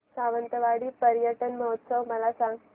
सावंतवाडी पर्यटन महोत्सव मला सांग